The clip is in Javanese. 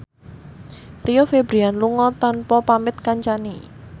Rio Febrian lunga tanpa pamit kancane